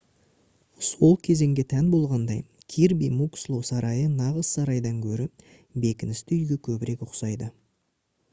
сол кезеңге тән болғандай кирби муксло сарайы нағыз сарайдан гөрі бекіністі үйге көбірек ұқсайды